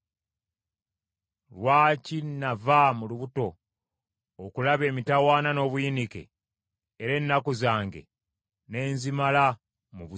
Lwaki nava mu lubuto okulaba emitawaana n’obuyinike era ennaku zange ne nzimala mu buswavu?